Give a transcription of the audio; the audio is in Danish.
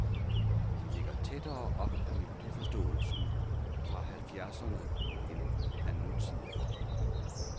De ligger tættere op ad melodiforståelsen fra halvfjerdserne end af nutidig rock.